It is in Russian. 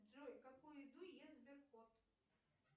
джой какую еду ест сберкот